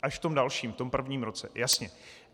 Až v tom dalším, v tom prvním roce, jasně.